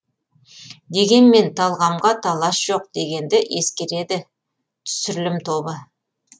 дегенмен талғамға талас жоқ дегенді ескереді түсірілім тобы